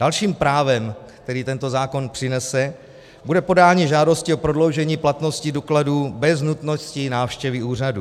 Dalším právem, které tento zákon přinese, bude podání žádosti o prodloužení platnosti dokladů bez nutnosti návštěvy úřadů.